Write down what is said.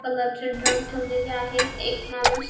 colour चे drum ठेवलेले आहेत एक माणूस--